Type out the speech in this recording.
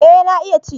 Eh na iya ci